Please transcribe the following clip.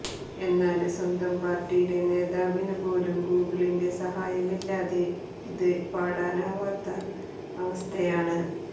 എന്നാല് സ്വന്തം പാര്ട്ടിയിലെ നേതാവിന് പോലും ഗൂഗിളിന്റെ സഹായമില്ലാതെ ഇത് പാടാനാവാത്ത അവസ്ഥയാണ്